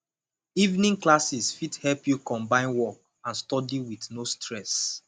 evening classes fit help you combine work and study with no stress